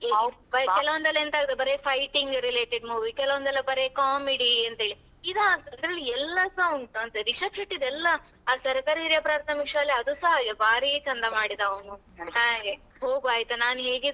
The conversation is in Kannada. ಕೆಲವ್ ಒಂದ್ರಲ್ಲಿ ಎಂತ ಆಗ್ತದೆ ಬರಿ fighting related movie ಕೆಲವ್ ಒಂದ್ರಲ್ಲಿ ಬರೀ comedy ಅಂತೆಳಿ ಈದ್ ಹಾಗಲ್ಲಾ ಇದ್ರಲ್ಲಿ ಎಲ್ಲಾಸ ಉಂಟು ಅಂತ ರಿಷಬ್ ಶೆಟ್ಟಿದ ಎಲ್ಲಾ ಆ ಸರಕಾರಿ ಹಿರಿಯ ಪ್ರಾರ್ಥಮಿಕ ಶಾಲೆ ಅದುಸ ಹಾಗೆ ಅವ ಭಾರಿ ಚಂದ ಮಾಡಿದ ಅವನು, ಹಾಗೆ ಹೋಗುವ ಆಯ್ತಾ ನಾನ್ ಹೇಗಿದ್ರು